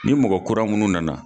Ni mɔgɔ kura minnu nana.